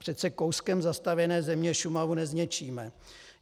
Přece kouskem zastavěné země Šumavu nezničíme?